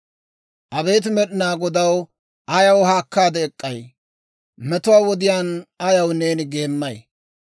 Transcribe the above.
Abeet Med'inaa Godaw, ayaw haakkaade ek'k'ay? Metuwaa wodiyaan ayaw neeni geemmay?